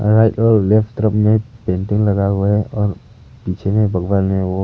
right और left तरफ में पेंटिंग लगा हुआ है और पीछे में भगवान है वह--